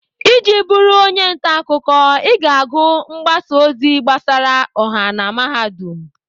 Iji bụrụ onye ntaakụkọ, ị ga-agụ mgbasa ozi gbasara ọha na Mahadum.